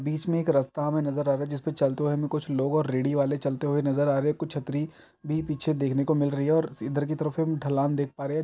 बीच में एक रास्ता हमे नज़र आ रहा हैं जिस पे चलते हुए कुछ लोग और रेडी वाले चलते चलते हुए नज़र आ रहे हैं कुछ छतरी भी पीछे देखने को मिल रही हैं और इधर की तरफ़ हम ढलान देख पा रहे हैं।